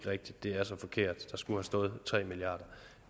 rigtigt det er så forkert der skulle have stået tre milliard